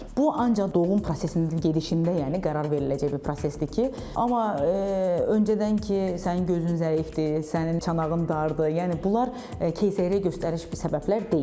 Bu ancaq doğum prosesinin gedişində, yəni qərar veriləcək bir prosesdir ki, amma öncədən ki sənin gözün zəifdir, sənin çanağın dardır, yəni bunlar keysəriyyə göstəriş bir səbəblər deyil.